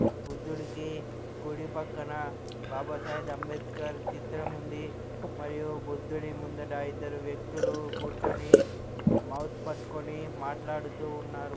బుద్దుడికి కుడి పక్కన బాబా సాహెద్ అంబెడ్కర్ చిత్రం ఉంది మరియు బుద్దుడి ముందట ఇద్దరు వ్యక్తులు కూర్చొని మౌత్ పెట్టుకొని మాట్లాడుతూ ఉన్నరు.